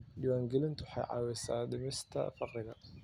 Diiwaangelintu waxay caawisaa dhimista faqriga.